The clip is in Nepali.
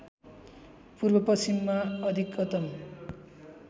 पूर्व पश्चिममा अधिकतम